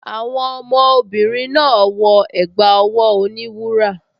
Àwọn ọmọbìnrin náà wọ ẹ̀gbá ọwọ́ oníwúrà